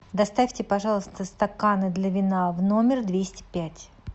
доставьте пожалуйста стаканы для вина в номер двести пять